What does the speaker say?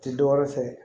Tɛ dɔ wɛrɛ fɛ